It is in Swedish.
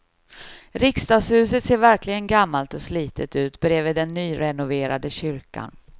Riksdagshuset ser verkligen gammalt och slitet ut bredvid den nyrenoverade kyrkan.